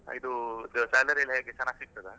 ಇದು salary ಎಲ್ಲ ಹೇಗೆ ಚೆನ್ನಾಗ್ ಸಿಗ್ತದ?